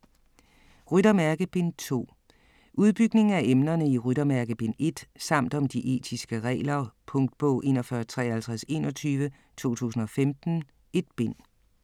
Ryttermærke: Bind 2 Udbygning af emnerne i Ryttermærke bind 1 samt om de etiske regler. Punktbog 415321 2015. 1 bind.